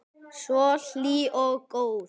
Svo hlý og góð.